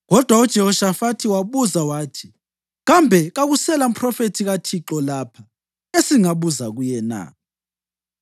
Kodwa uJehoshafathi wabuza wathi, “Kambe kakusela mphrofethi kaThixo lapha esingabuza kuye na?”